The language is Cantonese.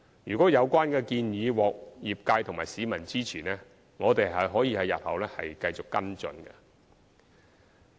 如果有關建議獲業界和市民支持，我們日後可以繼續跟進。